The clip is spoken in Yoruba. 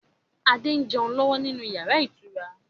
Adé ń jẹun lọ́wọ́ nínú yàrá ìtura.